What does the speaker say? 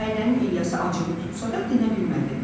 Nailənin İlyası acığı tutsa da, dinə bilmədi.